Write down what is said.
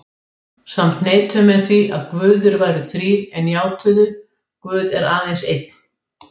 Samt neituðu menn því að guðir væru þrír en játuðu: Guð er aðeins einn.